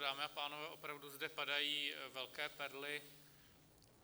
Dámy a pánové, opravdu zde padají velké perly.